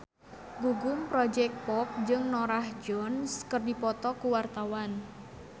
Gugum Project Pop jeung Norah Jones keur dipoto ku wartawan